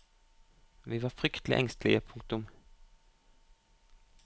Vi var fryktelig engstelige. punktum